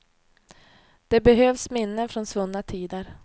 Det behövs minnen från svunna tider.